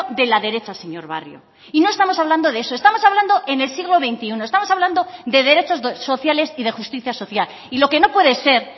de la derecha señor barrio y no estamos hablando de eso estamos hablando en el siglo veintiuno estamos hablando de derechos sociales y de justicia social y lo que no puede ser